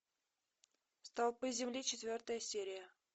столпы земли четвертая серия